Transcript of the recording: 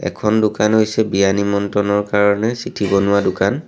এখন দোকান হৈছে বিয়া নিমন্ত্ৰণৰ কাৰণে চিঠি বনোৱা দোকান।